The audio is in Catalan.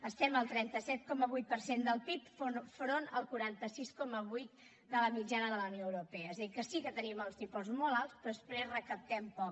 estem al trenta set coma vuit per cent del pib enfront al quaranta sis coma vuit de la mitjana de la unió europea és a dir que sí que tenim els tipus molt alts però després recaptem poc